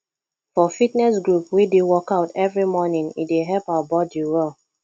for fitness group we dey workout every morning e dey help our body well